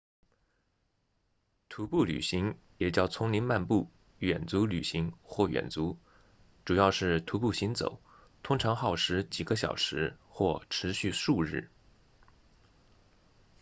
徒步旅行也叫丛林漫步远足旅行或远足主要是徒步行走通常耗时几个小时或持续数日